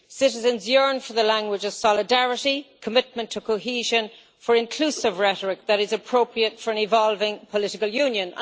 Citizens yearn for the language of solidarity, commitment to cohesion, for inclusive rhetoric that is appropriate for an evolving political union.'